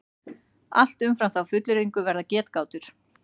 Allt umfram þá fullyrðingu verða getgátur.